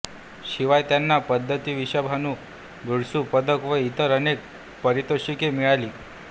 शिवाय त्यांना पद्मविभूषण ब्रूस पदक व इतर अनेक पारितोषिके मिळाली